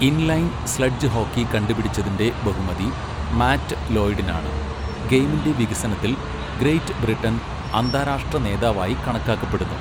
Inline sledge hockey കണ്ടുപിടിച്ചതിൻ്റെ ബഹുമതി Matt ലോയ്ഡിനാണ്, ഗെയിമിൻ്റെ വികസനത്തിൽ ഗ്രേറ്റ് ബ്രിട്ടൻ അന്താരാഷ്ട്ര നേതാവായി കണക്കാക്കപ്പെടുന്നു.